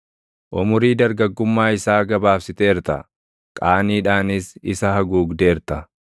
Umurii dargaggummaa isaa gabaabsiteerta; qaaniidhaanis isa haguugdeerta.